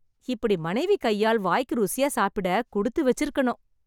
இப்படி மனைவி கையால், வாய்க்கு ருசியா சாப்பிட குடுத்து வச்சு இருக்கணும்.